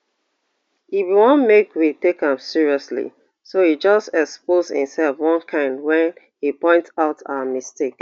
e bin wan make we take am seriously so e just expose imself one kain wen e point out our mistake